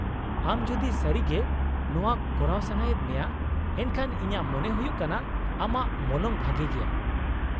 -ᱟᱢ ᱡᱩᱫᱤ ᱥᱟᱹᱨᱤᱜᱮ ᱱᱚᱶᱟ ᱠᱚᱨᱟᱣ ᱥᱟᱱᱟᱭᱮᱫ ᱢᱮᱭᱟ, ᱮᱱᱠᱷᱟᱱ ᱤᱧᱟᱹᱜ ᱢᱚᱱᱮ ᱦᱩᱭᱩᱜ ᱠᱟᱱᱟ ᱟᱢᱟᱜ ᱢᱚᱞᱚᱝ ᱵᱷᱟᱜᱮ ᱜᱮᱭᱟ ᱾